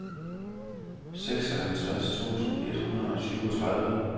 seksoghalvtreds tusind et hundrede og syvogtredive